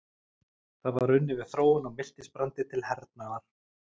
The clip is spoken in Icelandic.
Þar var unnið við þróun á miltisbrandi til hernaðar.